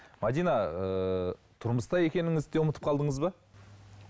мәдина ыыы тұрмыста екеніңізді де ұмытып қалдыңыз ба